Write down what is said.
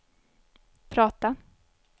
prata